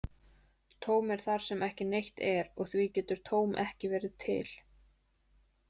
Tóm er þar sem ekki neitt er, og því getur tóm ekki verið til.